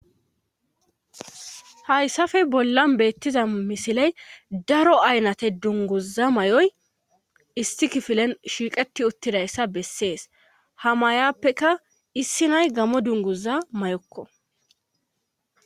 Hayssafe bolla beettiza misiley daro aynate dunguza may7oy issi kifilen shiiqeti uttidayssa bessees hamayappeka issi nay gamo dunguza may7okko.